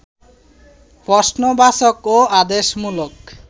প্রশ্নবাচক ও আদেশমূলক